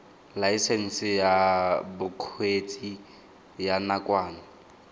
laesense ya bokgweetsi ya nakwana